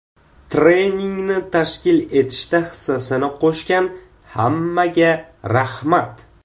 Treningni tashkil etishda hissasini qo‘shgan hammaga rahmat.